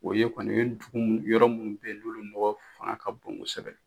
O ye kɔni o ye tugu mun yɔrɔ munnu bɛ yen olu mɔgɔw fanga ka bon kosɛbɛ.